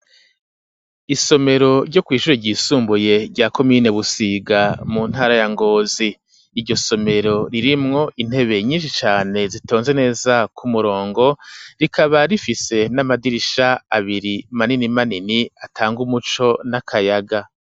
Isomero ryo kwishure yisumbuye rya komine busiga, mu ntara ya ngozi ,iryo somero ririmwo intebe nyinshi cane ,zitonze neza ku murongo rikaba rifise n'amadirisha abiri manini manini ,atanga umuco n'akayaga.